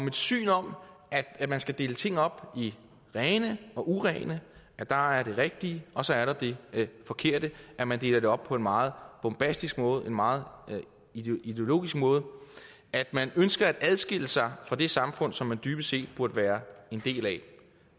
et syn om at man skal dele tingene op i rene og urene at der er det rigtige og så er der det forkerte at man deler det op på en meget bombastisk måde en meget ideologisk måde og at man ønsker at adskille sig fra det samfund som man dybest set burde være en del af